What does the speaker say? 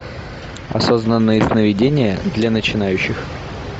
осознанные сновидения для начинающих